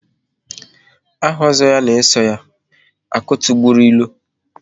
Aha Ozo ya na-eso ya - "Akụ tigburu ilo"